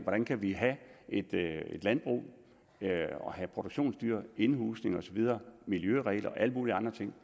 hvordan kan vi have et landbrug og have produktionsdyr indhusning miljøregler og alle mulige andre ting